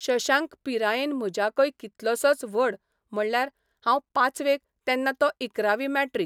शशांक पिरायेन म्हज्याकय कितलोसोच व्हड म्हणल्यार हांव पांचवेक तेन्ना तो इकरावी मॅट्रिक.